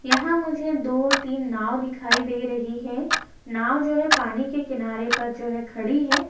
यहाँ मुझे दो तीन नाव दिखाई दे रही है। नाव जो है पानी के किनारे पर जो है खड़ी है।